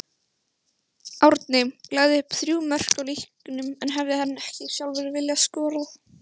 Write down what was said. Árni lagði upp þrjú mörk í leiknum en hefði hann ekki sjálfur viljað skora?